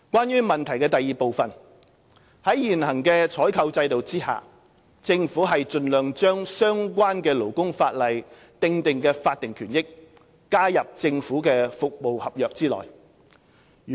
二在現行採購制度下，政府盡量將相關勞工法例訂定的法定權益，加入政府服務合約內。